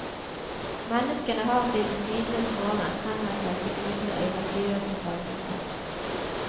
Menneskene har siden tidenes morgen henvendt seg til gudene i religiøse seremonier.